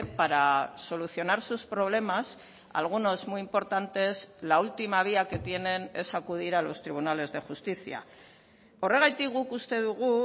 para solucionar sus problemas algunos muy importantes la última vía que tienen es acudir a los tribunales de justicia horregatik guk uste dugu